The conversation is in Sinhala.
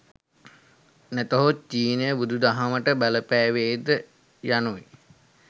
නැතහොත් චීනය බුදුදහමට බලපෑවේ ද යනු යි.